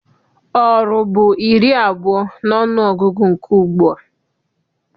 Oru bụ iri abụọ n'ọnụgụgụ nke ugbua.